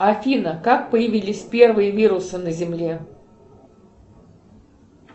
афина как появились первые вирусы на земле